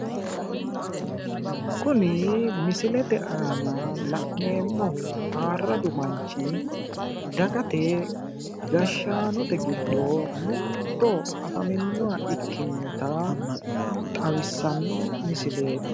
Kuni misilete aana la'neemmohu ayirradu manchi dagate gashshaanote giddo mitto afaminnoha ikkinota xawissanno misileeti.